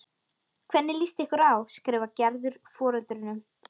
Hvernig líst ykkur á? skrifar Gerður foreldrunum.